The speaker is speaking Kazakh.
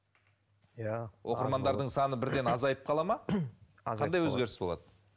иә оқырмандардың саны бірден азайып қалады ма азайып қандай өзгеріс болады